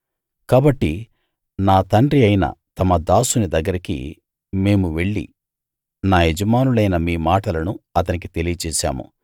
కాబట్టి నా తండ్రి అయిన తమ దాసుని దగ్గరికి మేము వెళ్ళి నా యజమానులైన మీ మాటలను అతనికి తెలియచేశాము